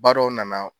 Ba dɔw nana